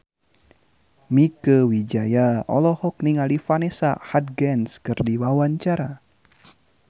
Mieke Wijaya olohok ningali Vanessa Hudgens keur diwawancara